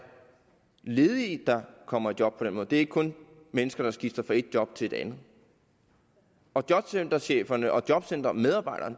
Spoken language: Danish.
ledige der kommer i job på den måde det er ikke kun mennesker der skifter fra et job til et andet jobcentercheferne og jobcentermedarbejderne